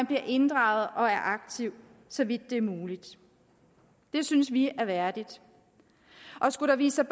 bliver inddraget og er aktiv så vidt det er muligt det synes vi er værdigt skulle der vise